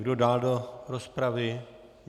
Kdo dál do rozpravy?